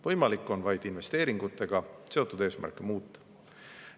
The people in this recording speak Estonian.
Võimalik on vaid investeeringutega seotud eesmärke muuta.